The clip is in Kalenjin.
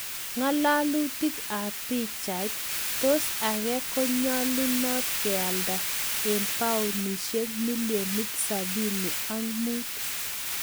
Ngalalutik ab pichait, tos Ake konyalunot kealda eng paunisiek milionit 75?